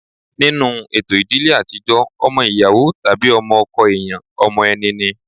Nínú ètò ìdílé àtijọ́ ọmọ ìyàwó tàbí ọmọ ọkọ èèyàn ọmọ ẹni ni